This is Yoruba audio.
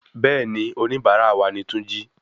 Béèni onibara wa ni túnjí